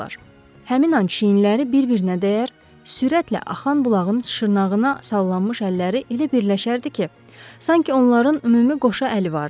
Həmin an çiyinləri bir-birinə dəyər, sürətlə axan bulağın şırnağına sallanmış əlləri elə birləşərdi ki, sanki onların ümumi qoşa əli vardı.